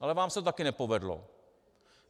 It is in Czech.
Ale vám se to také nepovedlo.